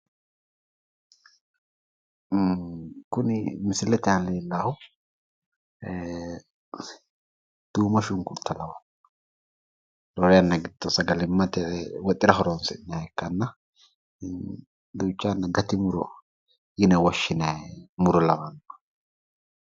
Kuni misilete aana leellaahu duumo shunkurta lawanno. Lowo yanna giddo sagalimmate woxira horoonsi'nayiha ikkanna ducha yanna gati muro yine qoshshinayi muro lawanno.